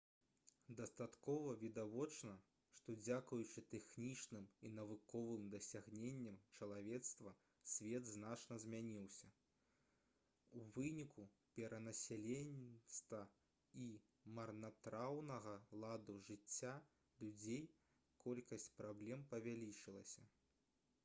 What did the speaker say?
дастаткова відавочна што дзякуючы тэхнічным і навуковым дасягненням чалавецтва свет значна змяніўся у выніку перанаселенасці і марнатраўнага ладу жыцця людзей колькасць праблем павялічылася